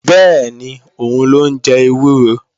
Bẹ́ẹ̀ni, òun ló ń jẹ ewúro